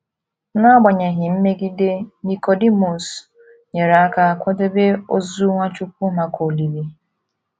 N’agbanyeghị mmegide, Nikọdimọs nyere aka kwadebe ozu Nwachukwu maka olili